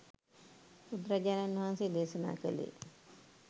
බුදුරජාණන් වහන්සේ දේශනා කළේ